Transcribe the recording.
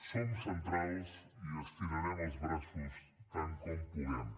som centrals i estirarem els braços tant com puguem